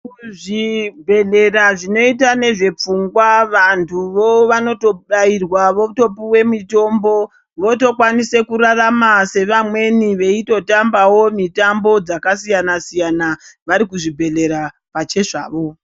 Kuzvibhedhleya zvinoita ngezvepfungwa vantuwo vanotobairwa votopuwe mitombo votokwanise kurarama sevamweni veitotambawo mitambo dzakasiyana siyana varikuzvibhedhleya pachezvavo.